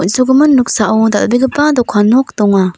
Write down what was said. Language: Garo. on·sogimin noksao dal·begipa dokan nok donga.